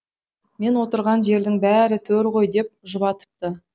мен отырған жердің бәрі төр ғой деп жұбатыпты